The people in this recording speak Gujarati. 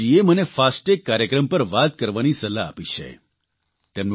અપર્ણાજીએ મને ફાસ્ટેગ કાર્યક્રમ પર વાત કરવાની સલાહ આપી છે